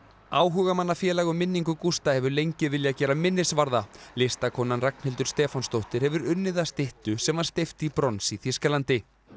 áhugamannafélag um minningu Gústa hefur lengi viljað gera minnisvarða listakonan Ragnhildur Stefánsdóttir hefur unnið að styttu sem var steypt í brons í Þýskalandi